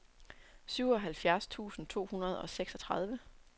syvoghalvfjerds tusind to hundrede og seksogtredive